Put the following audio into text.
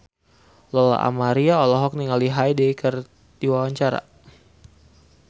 Lola Amaria olohok ningali Hyde keur diwawancara